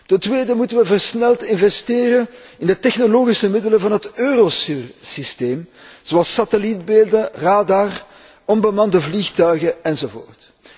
Ten tweede moeten we versneld investeren in de technologische middelen van het Eurosur systeem zoals satellietbeelden, radar, onbemande vliegtuigen, enzovoort.